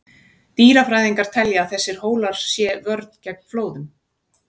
Dýrafræðingar telja að þessir hólar sé vörn gegn flóðum.